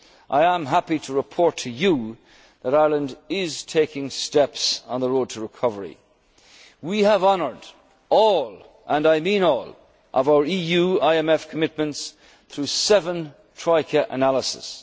qualities I am happy to report to you that Ireland is taking steps on the road to recovery. We have honoured all, and I mean all, of our EU IMF commitments through seven troika